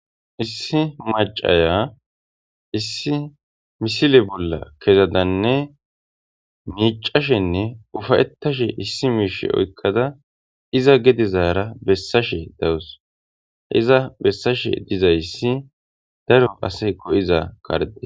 Issi macaya issi misile bolla kezadanne miicashenne ufayetashe issi miishe oykkada iza gedezaara bessashe dawus iza bessashe dizayssi daro ase go7iza karde.